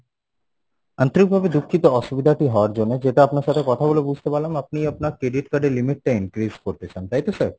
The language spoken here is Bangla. আন্তরিক ভাবে দুঃখিত অসুবিধাটি হওয়ার জন্যে যেটা আপনার সাথে কথা বলে বুঝতে পারলাম আপনি আপনার credit card এ limit টা increase করতে চান তাই তো sir?